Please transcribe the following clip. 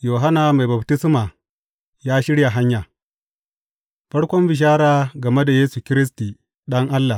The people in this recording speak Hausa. Yohanna Mai Baftisma ya shirya hanya Farkon bishara game da Yesu Kiristi, Ɗan Allah.